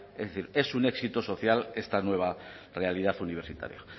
es decir es un éxito social esta nueva realidad universitaria